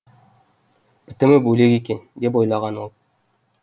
бітімі бөлек екен деп ойлаған ол